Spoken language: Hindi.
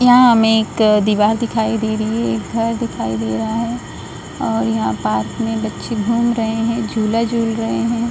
यहाँ हमे एक दिवार दिखाई दे रही है एक घर दिखाई दे रहा है और यहाँ पार्क में बच्चे घूम रहे है झूला झूल रहे है।